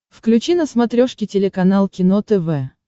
включи на смотрешке телеканал кино тв